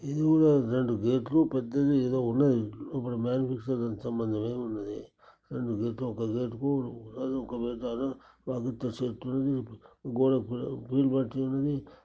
ఇది కూడా రెండు గేట్ లు పెద్దది. ఏదో ఉన్నది. లోపట మ్యానుఫ్యాక్చరింగ్ కి సంబంధించింది ఉన్నది. రెండు గేటు ఒక గెట్ కు ప్రబుత్వ చెట్లు గోడ కూడా గ్రీన్ పెట్టలేదు.